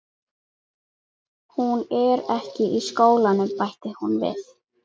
Hún er ekki í skólanum, bætti hún við.